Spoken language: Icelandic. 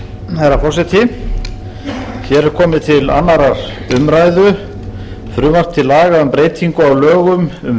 herra forseti hér er komið til annarrar umræðu frumvarp til laga um breytingu á lögum